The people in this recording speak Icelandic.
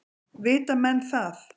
Vita menn það?